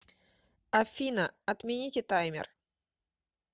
афина отмените таймер